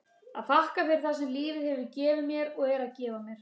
að þakka fyrir það sem lífið hefur gefið mér og er að gefa mér.